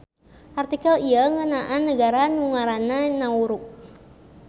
Artikel ieu ngeunaan nagara nu ngaranna Nauru.